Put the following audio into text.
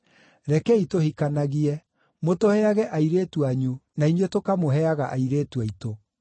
Rekei tũhikanagie; mũtũheage airĩtu anyu na inyuĩ tũkamũheaga airĩtu aitũ.